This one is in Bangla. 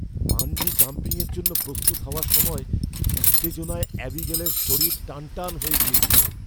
বাঞ্জি জাম্পিংয়ের জন্য প্রস্তুত হওয়ার সময় উত্তেজনায় অ্যাবিগালের শরীর টানটান হয়ে গিয়েছিল।